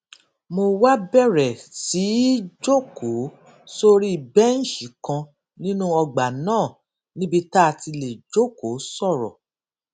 mo wá bèrè sí í jókòó sórí béǹṣì kan nínú ọgbà náà níbi tá a ti lè jókòó sòrò